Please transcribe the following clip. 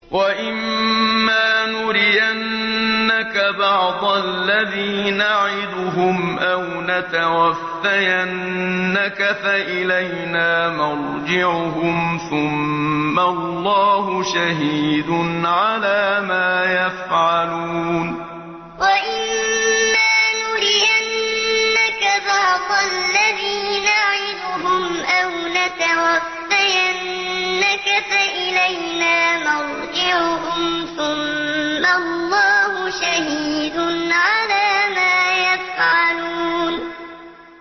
وَإِمَّا نُرِيَنَّكَ بَعْضَ الَّذِي نَعِدُهُمْ أَوْ نَتَوَفَّيَنَّكَ فَإِلَيْنَا مَرْجِعُهُمْ ثُمَّ اللَّهُ شَهِيدٌ عَلَىٰ مَا يَفْعَلُونَ وَإِمَّا نُرِيَنَّكَ بَعْضَ الَّذِي نَعِدُهُمْ أَوْ نَتَوَفَّيَنَّكَ فَإِلَيْنَا مَرْجِعُهُمْ ثُمَّ اللَّهُ شَهِيدٌ عَلَىٰ مَا يَفْعَلُونَ